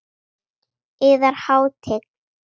Yðar Hátign!